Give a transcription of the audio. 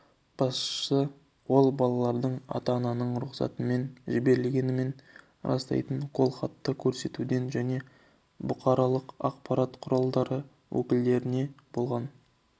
басшысы ол балалардың ата-ананың рұқсатымен жіберілгенін растайтын қолхатты көрсетуден және бұқаралық ақпарат құралдары өкілдеріне болған